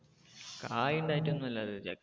കായ് ഉണ്ടായിട്ട് ഒന്നും അല്ല